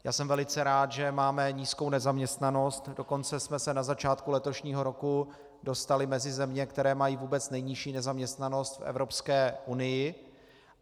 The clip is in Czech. Já jsem velice rád, že máme nízkou nezaměstnanost, dokonce jsme se na začátku letošního roku dostali mezi země, které mají vůbec nejnižší nezaměstnanost v Evropské unii.